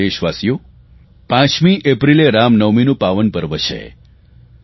મારા વહાલા દેશવાસીઓ 5 એપ્રિલે રામનવમીનું પાવન પર્વ છે